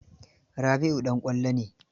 Rabi'u ɗan ƙwallo ne.